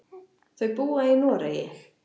Þau búa í Noregi.